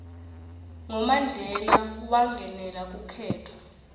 ngo mandela wangenela kukhetfho